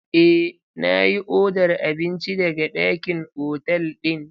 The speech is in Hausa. Eh, na yi odar abinci daga ɗakin otal ɗin.